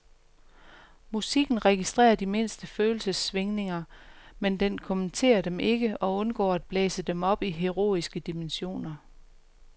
Musikken registrerer de mindste følelsessvingninger, men den kommenterer dem ikke og undgår at blæse dem op til heroiske dimensioner.